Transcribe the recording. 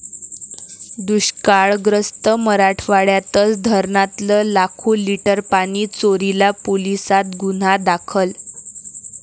दुष्काळग्रस्त मराठवाड्यातच धरणातलं लाखो लीटर पाणी चोरीला, पोलिसांत गुन्हा दाखल